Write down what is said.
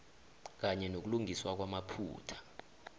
kanye nokulungiswa kwamaphutha